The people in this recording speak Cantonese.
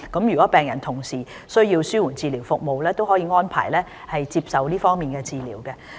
如果病人同時需要紓緩治療服務，可獲安排接受這方面的治療。